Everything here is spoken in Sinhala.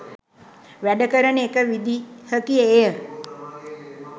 වැඩ කරන එක විදිහකි එය.